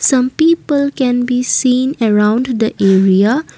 some people can be seen around the area.